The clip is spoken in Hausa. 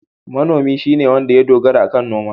Manomi shine wanda ya dogara akan noma.